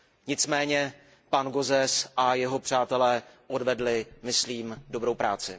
Nicméně pan Gauzès a jeho přátelé odvedli, myslím, dobrou práci.